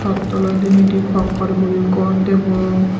chaat aalai diney di pakkar guri gor degong.